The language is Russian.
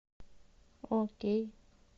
окей